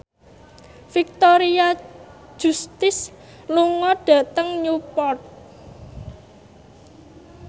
Victoria Justice lunga dhateng Newport